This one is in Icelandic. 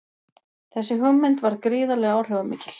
Þessi hugmynd varð gríðarlega áhrifamikil.